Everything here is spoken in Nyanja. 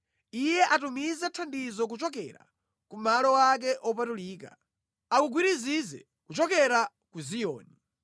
Iye atumize thandizo kuchokera ku malo ake opatulika; akugwirizize kuchokera ku Ziyoni.